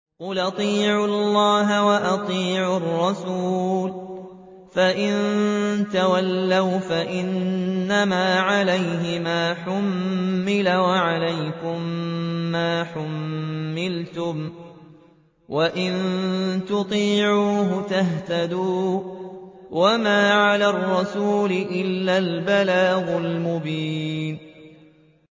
قُلْ أَطِيعُوا اللَّهَ وَأَطِيعُوا الرَّسُولَ ۖ فَإِن تَوَلَّوْا فَإِنَّمَا عَلَيْهِ مَا حُمِّلَ وَعَلَيْكُم مَّا حُمِّلْتُمْ ۖ وَإِن تُطِيعُوهُ تَهْتَدُوا ۚ وَمَا عَلَى الرَّسُولِ إِلَّا الْبَلَاغُ الْمُبِينُ